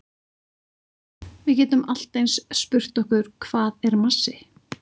Við getum allt eins spurt okkur hvað er massi?